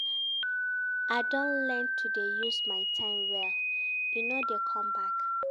I don learn to dey use my time well, e no dey come back.